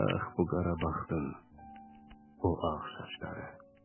Ax bu qara baxtın o ağ saçları.